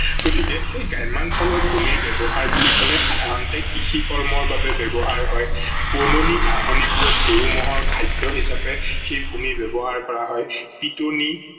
গতিকে সেই গ্ৰাম্যাঞ্চলত ভুমিৰ ব্যৱহাৰ বুলি লেপাই সাধাৰাতে কৃষি কৰ্মৰ বাবে ব্যৱহাৰ হয়, বননি ঘাহনি বোৰত গৰু মহৰ খাদ্য হিচাপে সেই ভূমি ব্যৱহাৰ কৰা হয়, পিতনি